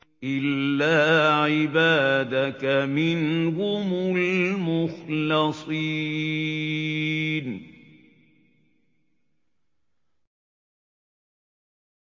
إِلَّا عِبَادَكَ مِنْهُمُ الْمُخْلَصِينَ